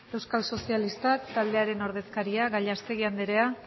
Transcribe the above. euskal sozialistak taldearen ordezkaria gallastegui anderea